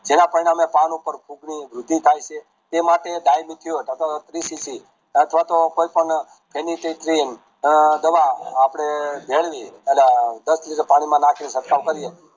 જેના પરિણામે પાન ઉપર થાય છે તે માટે અથવા તો કોઈ પણ અમ દવા આપડે મેળવી અને દસ લિટર પાણીમાં નાખીને ચીડકાવ કરીયે